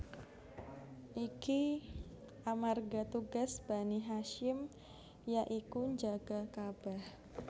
Iki amarga tugas Bani Hasyim ya iku njaga Ka bah